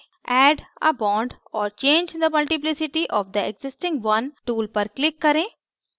add a bond or change the multiplicity of the existing one tool पर click करें